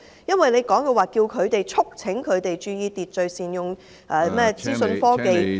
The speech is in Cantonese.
因為局長提到促請店鋪注意秩序，並善用資訊科技......